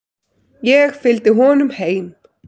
Ég fylgdi honum heim.